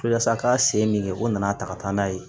Walasa a ka se min kɛ o nana ta ka taa n'a ye